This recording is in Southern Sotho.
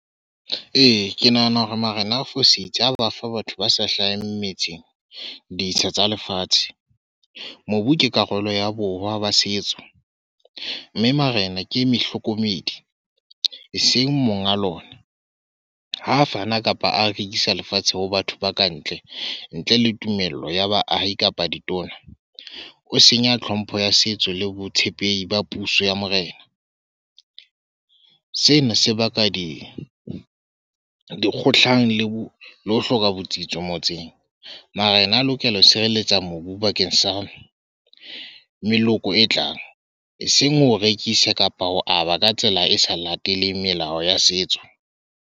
Ee, ke nahana hore Marena a fositse ha ba fa batho ba sa hlaheng metseng, ditsha tsa lefatshe. Mobu ke karolo ya borwa ba setso. Mme Marena ke mohlokomedi, eseng monga lona. Ha fana kapa a rekisa lefatshe ho batho ba kantle, ntle le tumello ya baahi kapa ditona. O senya tlhompho ya setso le botshepehi ba puso ya Morena. Seno se baka di dikgohlano le ho le ho hloka botsitso motseng. Mara ena a lokela ho sireletsa mobu bakeng sa meloko e tlang. Eseng ho rekise kapa ho aba ka tsela e sa lateleng melao ya setso.